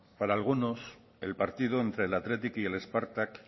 para algunos el partido entre el athletic y el spartak